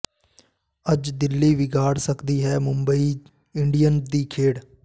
ਅੱਜ ਦਿੱਲੀ ਵਿਗਾੜ ਸਕਦੀ ਹੈ ਮੁੰਬਈ ਇੰਡੀਅਨਜ਼ ਦੀ ਖੇਡ